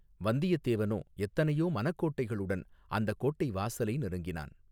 வந்தியத்தேவனோ எத்தனையோ மனக்கோட்டைகளுடன் அந்தக் கோட்டை வாசலை நெருங்கினான்.